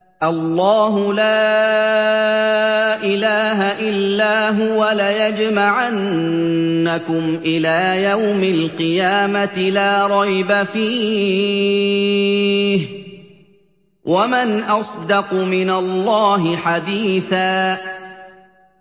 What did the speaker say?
اللَّهُ لَا إِلَٰهَ إِلَّا هُوَ ۚ لَيَجْمَعَنَّكُمْ إِلَىٰ يَوْمِ الْقِيَامَةِ لَا رَيْبَ فِيهِ ۗ وَمَنْ أَصْدَقُ مِنَ اللَّهِ حَدِيثًا